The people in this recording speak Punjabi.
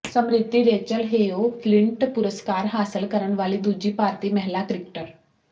ਸਮ੍ਰਿਤੀ ਰੇਚਲ ਹੇਓ ਫਲਿੰਟ ਪੁਰਸਕਾਰ ਹਾਸਲ ਕਰਨ ਵਾਲੀ ਦੂਜੀ ਭਾਰਤੀ ਮਹਿਲਾ ਕ੍ਰਿਕਟਰ